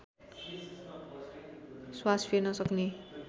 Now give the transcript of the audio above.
श्वास फेर्न सक्ने